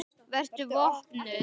Vertu vopnuð.